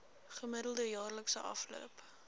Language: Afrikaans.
gemiddelde jaarlikse afloop